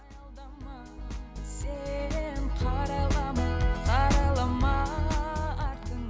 аялдама сен қарайлама қарайлама